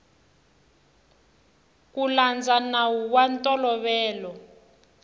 ku landza nawu wa ntolovelo